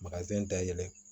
dayɛlɛ